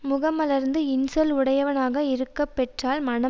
முகம் மலர்ந்து இன்சொல் உடையவனாக இருக்கப்பெற்றால் மனம்